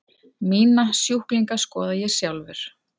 Mína sjúklinga skoða ég sjálfur.